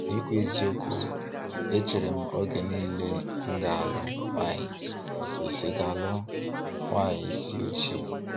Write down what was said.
Ikwu eziokwu, e cheere m oge niile na m ga-alụ nwaanyị isi ga-alụ nwaanyị isi ojii.